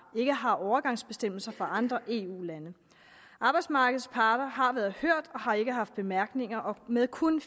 ikke har overgangsbestemmelser for andre eu lande arbejdsmarkedets parter har været hørt og har ikke haft bemærkninger og med kun